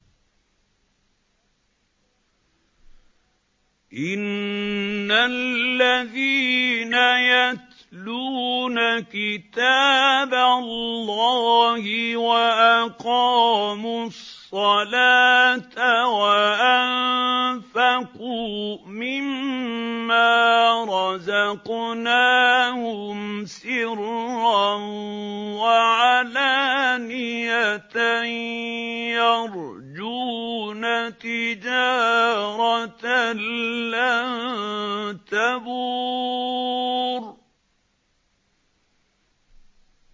إِنَّ الَّذِينَ يَتْلُونَ كِتَابَ اللَّهِ وَأَقَامُوا الصَّلَاةَ وَأَنفَقُوا مِمَّا رَزَقْنَاهُمْ سِرًّا وَعَلَانِيَةً يَرْجُونَ تِجَارَةً لَّن تَبُورَ